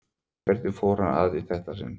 Hvernig fór hann að í þetta sinn?